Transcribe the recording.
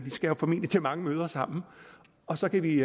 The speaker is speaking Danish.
skal jo formentlig til mange møder sammen og så kan vi